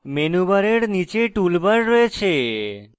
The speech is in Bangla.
menu bar নীচে tool bar রয়েছে